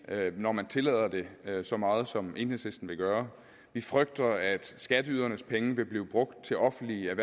når man tillader det så meget som enhedslisten vil gøre vi frygter at skatteydernes penge vil blive brugt til offentlige